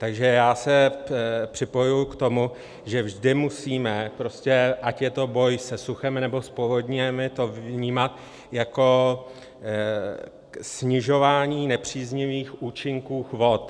Takže já se připojuji k tomu, že vždy musíme prostě, ať je to boj se suchem, nebo s povodněmi, to vnímat jako snižování nepříznivých účinků vod.